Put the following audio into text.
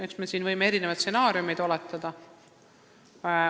Eks me võime siin erinevaid stsenaariume oletada.